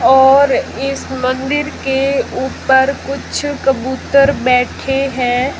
और इस मंदिर के ऊपर कुछ कबूतर बैठे हैं।